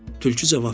Tülkü cavab verdi.